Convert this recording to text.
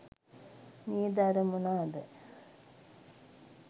නේද අර මොනාද